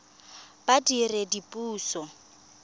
badiredipuso